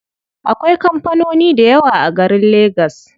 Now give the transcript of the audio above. Akwai kampanoni dayawa a garin legas.